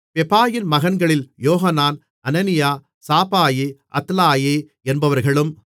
பெபாயின் மகன்களில் யோகனான் அனனியா சாபாயி அத்லாயி என்பவர்களும்